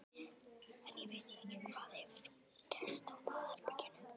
En ég veit ekki hvað hefur gerst á baðherberginu.